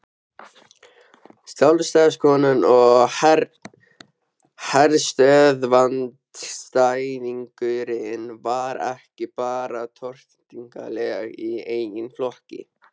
Sjálfstæðiskonan og herstöðvaandstæðingurinn var ekki bara tortryggileg í eigin flokki.